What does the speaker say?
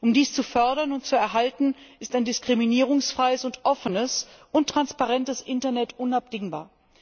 Um dies zu fördern und zu erhalten, ist ein diskriminierungsfreies, offenes und transparentes Internet unabdingbar.